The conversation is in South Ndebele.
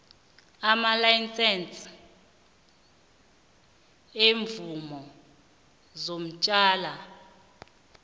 namalayisense iimvumo zotjwala